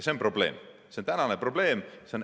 See on probleem, see on tänane probleem.